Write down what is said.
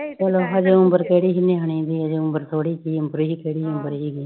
ਉਮਰ ਕਿਹੜੀ ਹੀ ਨਿਆਣੀ ਜੀ ਉਮਰ ਥੋੜੀ ਜੀ ਉਮਰੇ ਹੀ ਕਿਹੜੀ